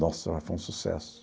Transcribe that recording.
Nossa, mas foi um sucesso.